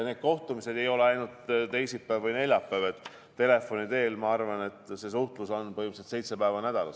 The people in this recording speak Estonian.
Kohtumised toimuvad küll ainult teisipäeval või neljapäeval, aga telefoni teel käib meil suhtlus põhimõtteliselt seitse päeva nädalas.